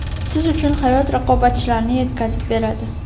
siz uchun hayot raqobatchilarni yetkazib beradi.